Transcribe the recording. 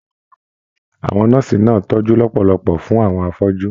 Àwọn nọ́ọ̀sì náà tọjú lọpọlọpọ fún àwọn afọju.